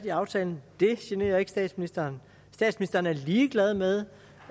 i aftalen det generer ikke statsministeren statsministeren er ligeglad med